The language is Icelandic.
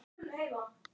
Nú ertu fallinn frá.